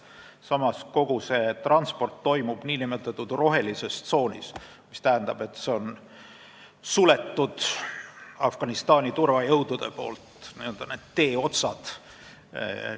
Samas toimub kogu see transport nn rohelises tsoonis, mis tähendab, et Afganistani turvajõud on need teeotsad sulgenud.